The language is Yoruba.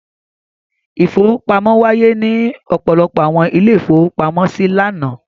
Ìfowópamọ́ wáyé ní ọ̀pọ̀lọpọ̀ àwọn ilé-ìfowópamọ́sí lánàá.